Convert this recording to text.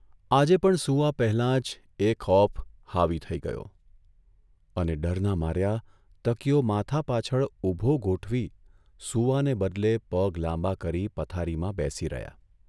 આજે પણ સૂવા પહેલાં જ એ ખોફ હાવી થઇ ગયો અને ડરના માર્યા તકીયો માથા પાછળ ઊભો ગોઠવી સૂવાને બદલે પગ લાંબા કરી પથારીમાં બેસી રહ્યા.